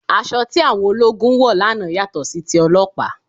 Aṣọ tí àwọn ológun wọ̀ lánàá yàtọ̀ sí ti ọlọ́pàá